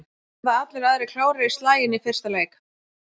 Verða allir aðrir klárir í slaginn í fyrsta leik?